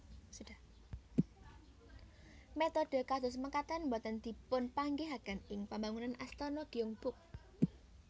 Metode kados mekaten boten dipunpanggihaken ing pembangunan Astana Gyeongbok